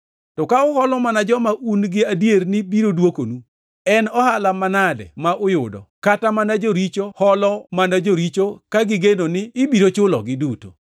To ka uholo mana joma un gi adier ni biro dwokonu, en ohala manade ma uyudo? Kata mana joricho holo mana joricho ka gigeno ni ibiro chulogi duto.